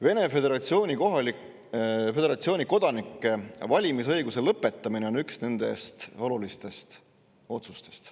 Vene föderatsiooni kodanike valimisõiguse lõpetamine on üks nendest olulistest otsustest.